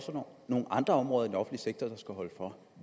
for nogle andre områder i sektor der skal holde for